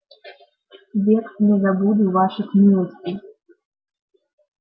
век не забуду ваших милостей